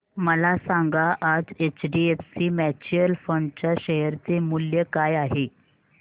मला सांगा आज एचडीएफसी म्यूचुअल फंड च्या शेअर चे मूल्य काय आहे